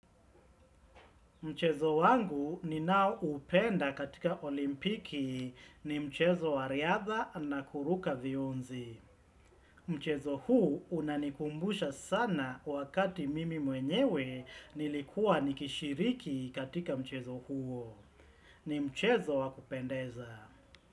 Mchezo wangu ni nao upenda katika olimpiki ni mchezo wariadha na kuruka vionzi. Mchezo huu unanikumbusha sana wakati mimi mwenyewe nilikua nikishiriki katika mchezo huo. Ni mchezo wakupendeza.